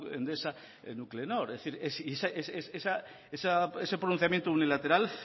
endesa nuclenor es decir ese pronunciamiento unilateral